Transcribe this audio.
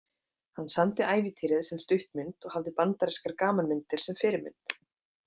Hann samdi ævintýrið sem stuttmynd og hafði bandarískar gamanmyndir sem fyrirmynd.